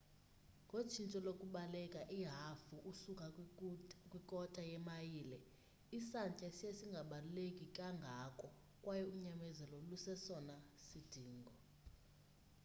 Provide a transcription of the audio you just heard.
ngotshintsho lokubaleka ihafu usuka kwi kota yemayile isantya siya singabaluleki kangako kwaye unyamezelo lusesona sidingo